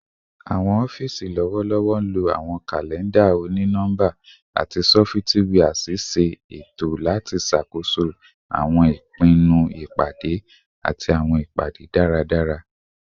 Awọn ọfiisi lọwọlọwọ nlo awọn kalẹnda oni-nọmba ati sọfitiwia ṣiṣe eto lati ṣakoso awọn ipinnu lati pade ati awọn ipade daradara